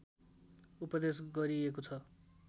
उपदेश गरिएको छ